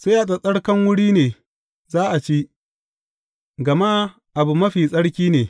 Sai a tsattsarkan wuri ne za a ci; gama abu mafi tsarki ne.